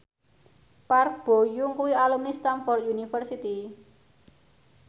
Park Bo Yung kuwi alumni Stamford University